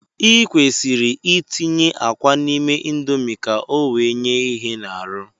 I kwesịrị itinye akwa n'ime indomi ka o wee nye ihe n'arụ